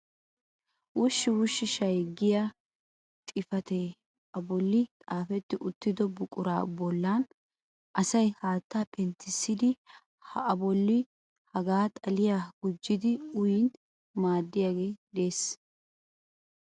'wush-wush shay' giyaa xifatee a bolla xaafeti uttido buqura bolla asay haatta penttissidi ha bolli hagaa xiilliya gujjidi uyyin maaddiyagee de'ees.